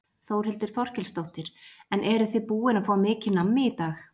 Þórhildur Þorkelsdóttir: En eruð þið búin að fá mikið nammi í dag?